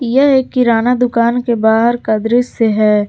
यह एक किराना दुकान के बाहर का दृश्य है।